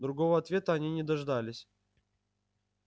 другого ответа они не дождались